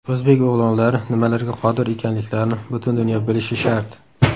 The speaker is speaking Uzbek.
O‘zbek o‘g‘lonlari nimalarga qodir ekanliklarini butun dunyo bilishi shart.